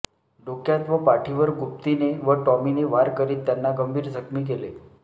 डोक्यात व पाठीवर गुप्तीने व टॉमीने वार करीत त्यांना गंभीर जखमी केले